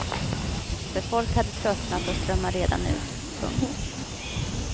För folk hade tröttnat och strömmade redan ut. punkt